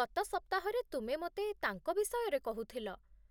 ଗତ ସପ୍ତାହରେ ତୁମେ ମୋତେ ତାଙ୍କ ବିଷୟରେ କହୁଥିଲ।